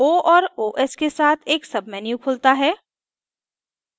o और os के साथ एक menu खुलता है